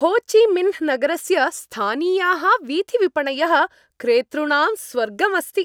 हो Chi Minh नगरस्य स्थानीयाः वीथिविपणयः क्रेतृणां स्वर्गम् अस्ति।